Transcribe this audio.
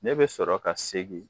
Ne bɛ sɔrɔ ka segin